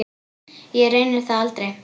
Ég reyni það aldrei.